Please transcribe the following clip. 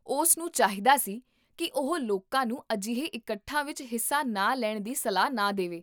ਉਸ ਨੂੰ ਚਾਹੀਦਾ ਸੀ ਕੀ ਉਹ ਲੋਕਾਂ ਨੂੰ ਅਜਿਹੇ ਇਕੱਠਾਂ ਵਿੱਚ ਹਿੱਸਾ ਨਾ ਲੈਣ ਦੀ ਸਲਾਹ ਨਾ ਦੇਵੇ